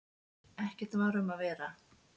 Ekkert var um að vera.